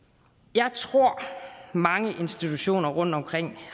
jeg tror mange institutioner rundtomkring